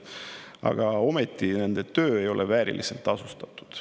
Aga ometi ei ole nende töö vääriliselt tasustatud.